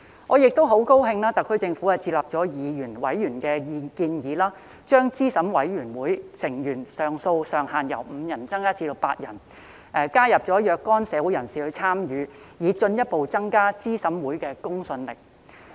我很高興特區政府接納議員、委員的建議，將資審會成員人數上限由5人增加至8人，加入若干社會人士參與，以進一步增加資審會的公信力。